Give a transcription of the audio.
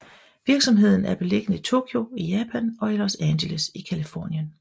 Virksomheden er beliggende i Tokyo i Japan og i Los Angeles i Californien